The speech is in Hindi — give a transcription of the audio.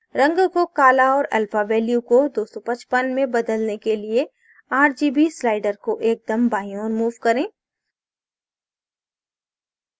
रंग को काला और alpha value को 255 में बदलने के लिए rgb sliders को एकदम बाईं ओर move करें